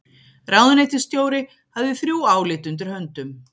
Ráðuneytisstjóri hafði þrjú álit undir höndum